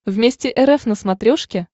вместе рф на смотрешке